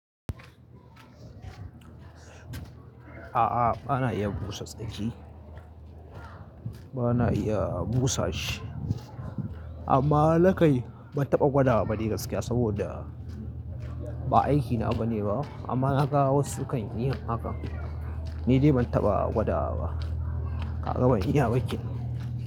A'a bana iya busa tsaki, bana iya busa shi amma nakai ban taɓa gwada ba ni gaskiya saboda ba aikina bane ba amma na ga wasu kan yi haka. Ni dai ban taɓa gwada ba. Ka ga ban iya ba kenan.